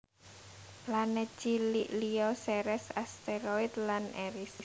Planet cilik liya Ceres asteroid lan Eris